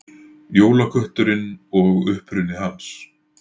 Jólakötturinn og uppruni hans.